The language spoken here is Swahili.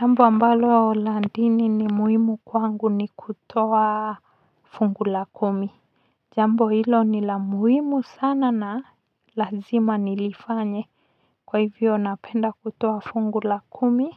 Jambo ambalo la dini ni muhimu kwangu ni kutoa fungu la kumi jambo hilo ni la muhimu sana na lazima nilifanye kwa hivyo napenda kutoa fungu la kumi